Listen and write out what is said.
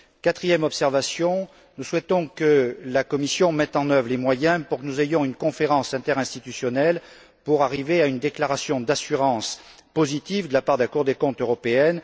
Quatrième point nous souhaitons que la Commission mette en œuvre les moyens pour que nous ayons une conférence interinstitutionnelle pour arriver à une déclaration d'assurance positive de la part de la Cour des comptes européenne.